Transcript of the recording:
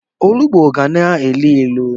Onugbo ga na-elu ilu.